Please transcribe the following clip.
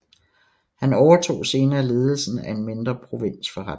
Han overtog senere ledelsen af en mindre provinsforretning